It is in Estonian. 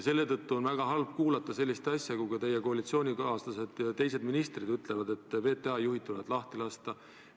Seetõttu on väga halb kuulata, kui teie koalitsioonikaaslased, sh ka teised ministrid ütlevad, et VTA juhid tuleb lahti lasta.